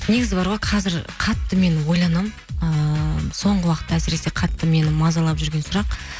негізі бар ғой қазір қатты мен ойланамын ыыы соңғы уақытта әсіресе қатты мені мазалап жүрген сұрақ